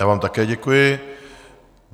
Já vám také děkuji.